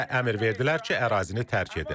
Bizə əmr verdilər ki, ərazini tərk edin.